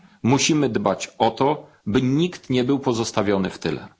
Musimy dbać o to, by nikt nie był pozostawiony w tyle.